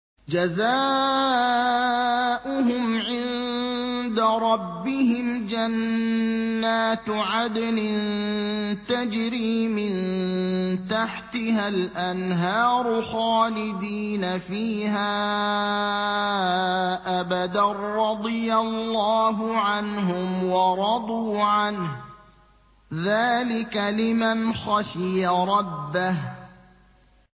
جَزَاؤُهُمْ عِندَ رَبِّهِمْ جَنَّاتُ عَدْنٍ تَجْرِي مِن تَحْتِهَا الْأَنْهَارُ خَالِدِينَ فِيهَا أَبَدًا ۖ رَّضِيَ اللَّهُ عَنْهُمْ وَرَضُوا عَنْهُ ۚ ذَٰلِكَ لِمَنْ خَشِيَ رَبَّهُ